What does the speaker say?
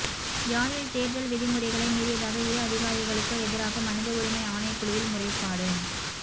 யாழில் தேர்தல் விதிமுறைகளை மீறியதாக இரு அதிகாரிகளுக்கு எதிராக மனித உரிமை ஆணைக்குழுவில் முறைப்பாடு